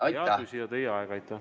Hea küsija, teie aeg!